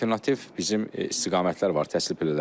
Alternativ bizim istiqamətlər var təhsil pillələri üzrə.